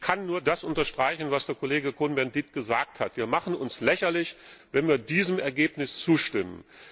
Und ich kann nur das unterstreichen, was Kollege Cohn Bendit gesagt hat Wir machen uns lächerlich, wenn wir diesem Ergebnis zustimmen.